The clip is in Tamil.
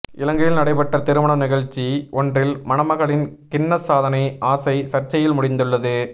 இலங்கையில் நடைபெற்ற திருமணம் நிகழ்ச்சி ஒன்றில் மணமகளின் கின்னஸ் சாதனை ஆசை சர்ச்சையில் முடிந்துள்ளது